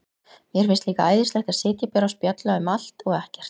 Mér finnst líka æðislegt að sitja bara og spjalla um allt og ekkert.